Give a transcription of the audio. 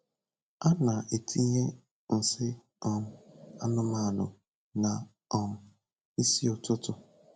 A na-etinye nsị um anụmanụ na um ịsị ụtụtụ.